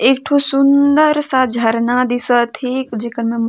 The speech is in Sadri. एक ठो सुन्दर सा झरना दिस थे जी क नम--